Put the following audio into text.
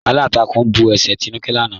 Alántàkún bú ẹ̀ṣẹ́ Tínúkẹ̀ lànà.